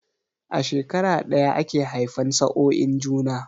A shekara ɗaya ake haifan sa'oin juna